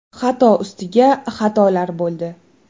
Xato ustiga xatolar bo‘ldi.